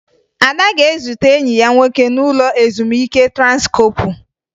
Ada ga-ezute enyi ya nwoke n'ụlọ ezumike Transkọọpụ